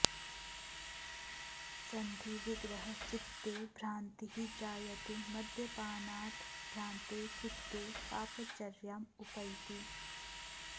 सन्धि विग्रह चित्ते भ्रान्तिः जायते मद्यपानात् भ्रान्ते चित्ते पाप चर्यां उपैति